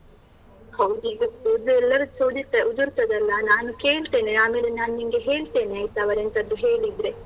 ಹೌದು ಈಗ ಕೂದ್ಲು ಎಲ್ಲರದ್ದುಸ ಉದುರ್ತದಲ್ಲ, ನಾನು ಕೇಳ್ತೇನೆ. ಆಮೇಲೆ ನಾನ್ ನಿನ್ಗೆ ಹೇಳ್ತೇನೆ ಆಯ್ತಾ, ಅವರೆಂತಾದ್ರೂ ಹೇಳಿದ್ರೆ.